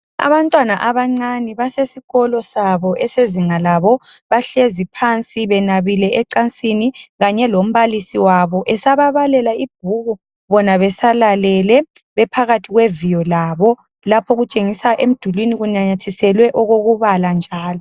Abantwana abancane basesikolo sabo esezinga labo, bahlezi phansi benabile ecansini kanye lombalisi wabo, esababalela ibhuku bona besalalele bephakathi kweviyo labo, lapho olutshengisa emdulwini kunanyathiselwe okokubala njalo.